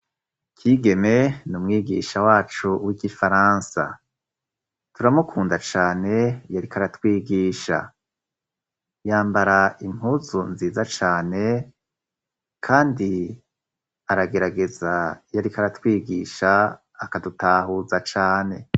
Kigeme ni umwigisha wacu w'igifaransa. Turamukunda cane. Iyo ariko aratwigisha yambara impuzu nziza cane, kandi aragerageza iyo ariko aratwigisha akadutahuza cane.